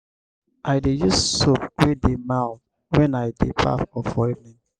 i dey use soap wey dey mild wen i dey baff for evening.